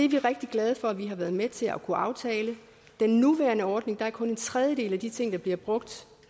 vi rigtig glade for vi har været med til at kunne aftale i den nuværende ordning er kun en tredjedel af de ting der bliver brugt